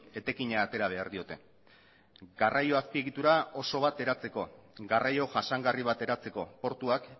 etekina atera behar diote garraio azpiegitura oso bat eratzeko garraio jasangarri bat eratzeko portuak